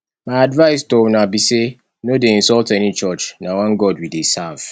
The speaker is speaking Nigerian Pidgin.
my advice to una be say no dey insult any church na one god we dey serve